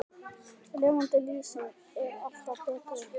Lifandi lýsing er alltaf betri.